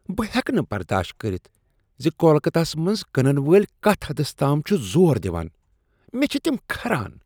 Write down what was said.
بہٕ ہیٚکہٕ نہٕ برداشت کٔرتھ زِ کولکتہ ہس منٛز کٕنن وٲلۍ کتھ حدس تام چِھ زور دِوان ۔ مے٘ چھِ تِم كھران ۔